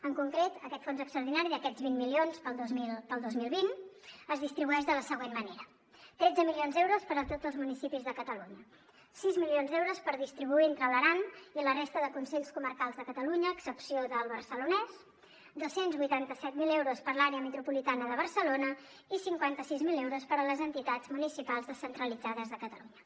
en concret aquest fons extraordinari d’aquests vint milions per al dos mil vint es distribueix de la següent manera tretze milions d’euros per a tots els municipis de catalunya sis milions d’euros per distribuir entre l’aran i la resta de consells comarcals de catalunya a excepció del barcelonès dos cents i vuitanta set mil euros per a l’àrea metropolitana de barcelona i cinquanta sis mil euros per a les entitats municipals descentralitzades de catalunya